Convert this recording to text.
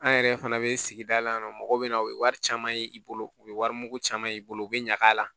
An yɛrɛ fana bɛ sigida la mɔgɔw bɛ na u ye wari caman ye i bolo u bɛ warimugu caman ye i bolo u bɛ ɲag'a la